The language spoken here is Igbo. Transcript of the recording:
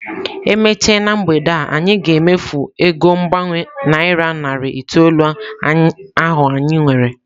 E mechaa na mgbede a, anyị ga-emefu ego mgbanwe naira narị itoolu ahụ anyị nwere.